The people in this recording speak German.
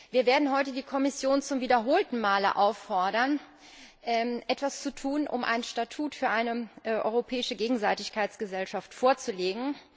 Wir werden heute die Kommission zum wiederholten Male auffordern, etwas zu tun, um ein Statut für eine europäische Gegenseitigkeitsgesellschaft vorzulegen.